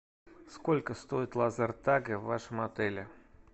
сколько стоит лазертаг в вашем отеле